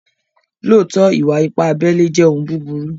Lóótọ̀, ìwà-ìpà àbèlè jẹ́ ọ̀un bùbúrù.